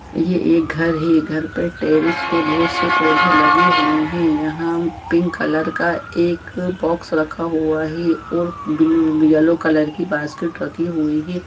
ये एक घर है घर पर टेरेस पे बहुत से पौधे लगे हुए है यहा पिंक कलर का एक बॉक्स रखा हुआ है और ब येलो कलर की बास्केट रखी हुई हैं।